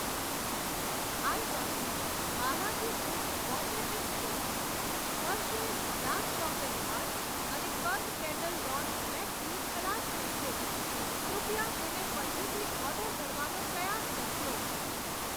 Items Balaji foods Bombay mixer, Hershey's dark chocolate bar અને karma kettle dawn black tea ખલાસ થઈ છે, કૃપયા તેને પછીથી ઓર્ડર કરવાનો પ્રયાસ કરજો.